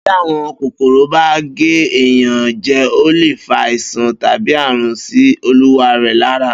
Bí àwọn kòkòrò bá gé èèyàn je̩, ó lè fa àìsàn tàbí àrùn sí olúwarè̩ lára